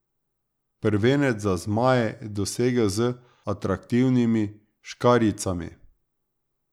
Prvenec za zmaje je dosegel z atraktivnimi škarjicami!